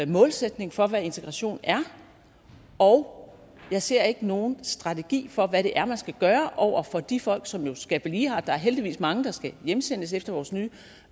målsætning for hvad integration er og jeg ser ikke nogen strategi for hvad det er man skal gøre over for de folk som jo skal blive her der er heldigvis mange der skal hjemsendes efter vores nye